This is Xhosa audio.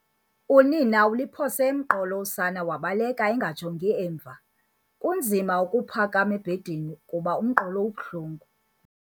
Unina uluphose emqolo usana wabaleka engajongi emva. kunzima ukuphakama ebhedini kuba umqolo ubuhlungu